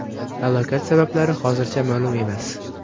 Halokat sabablari hozircha ma’lum emas.